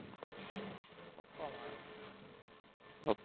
Pappa મારે